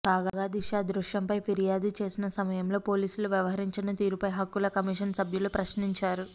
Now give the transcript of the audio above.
కాగా దిశ అదృశ్యంపై ఫిర్యాదు చేసిన సమయంలో పోలీసులు వ్యవహరించిన తీరుపై హక్కుల కమిషన్ సభ్యులు ప్రశ్నించారు